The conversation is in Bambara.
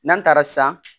N'an taara san